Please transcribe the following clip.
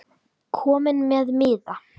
Kominn með miða?